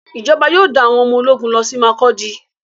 Ìjọba yóò dá àwọn ọmọ ológun lọsí Makurdi.